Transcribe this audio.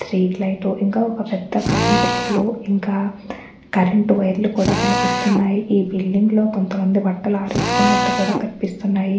Street light ఇంకా ఒక్క పెద్ద కరెంటు పోల్ ఇంకా కరెంటు వైర్ లు కూడా కనిపిస్తున్నాయి ఈ బిల్డింగ్ లో కొంతమంది బట్టలు ఆరేసుకునట్టు కూడా కనిపిస్తునాయి.